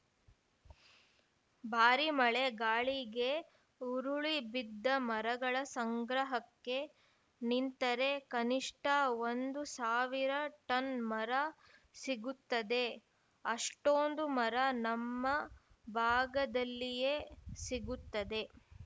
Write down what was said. ಭಾರಿ ಮಳೆ ಗಾಳಿಗೆ ಉರುಳಿಬಿದ್ದ ಮರಗಳ ಸಂಗ್ರಹಕ್ಕೆ ನಿಂತರೆ ಕನಿಷ್ಠ ಒಂದು ಸಾವಿರ ಟನ್‌ ಮರ ಸಿಗುತ್ತದೆ ಅಷ್ಟೊಂದು ಮರ ನಮ್ಮ ಭಾಗದಲ್ಲಿಯೇ ಸಿಗುತ್ತದೆ